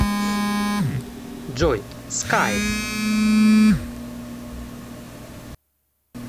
джой скай